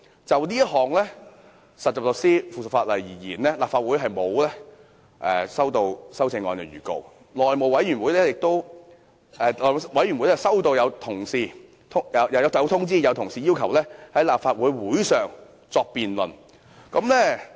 就這項有關實習律師的附屬法例而言，立法會並沒有接獲提出修正案的要求，但內務委員會曾接獲同事的通知，要求在立法會會上進行辯論。